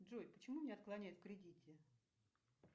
джой почему мне отклоняют в кредите